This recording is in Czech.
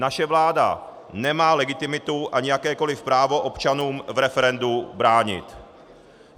Naše vláda nemá legitimitu ani jakékoliv právo občanům v referendu bránit.